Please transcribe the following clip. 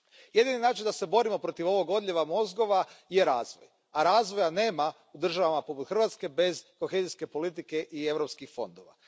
Jedini način da se borimo protiv ovog odljeva mozgova je razvoj, a razvoja nema u državama poput Hrvatske bez kohezijske politike i europskih fondova.